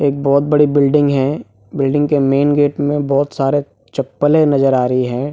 एक बहुत बड़ी बिल्डिंग है बिल्डिंग के मेन गेट मे बहुत सारे चप्पले नजर आ रही है।